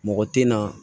Mɔgɔ tɛ na